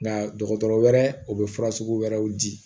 Nka dɔgɔtɔrɔ wɛrɛ o bɛ fura sugu wɛrɛw di